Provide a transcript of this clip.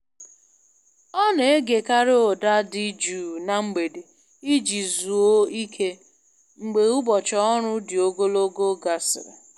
Ọ na-egekarị ụda dị jụụ na mgbede iji zuoo ike, mgbe ụbọchị ọrụ dị ogologo gasịrị.